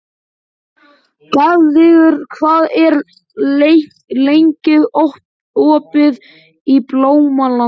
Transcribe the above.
Guðveigur, hvað er lengi opið í Blómalandi?